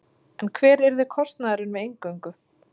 En hver yrði kostnaðurinn við inngöngu?